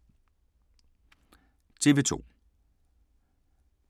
TV 2